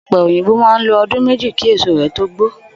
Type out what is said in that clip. Ò̩pe̩ òyìnbó máa ń lo o̩dún méjì kí èso rè̩ tó gbó